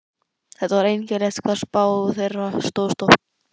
Það var einkennilegt hvað spá þeirra stóðst oft.